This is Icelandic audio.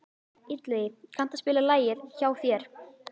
Illugi, kanntu að spila lagið „Hjá þér“?